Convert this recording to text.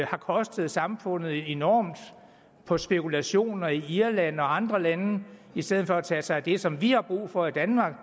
har kostet samfundet enormt på spekulationer i irland og andre lande i stedet for at tage sig af det som vi har brug for i danmark og